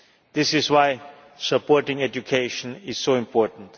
This is why supporting education is so important.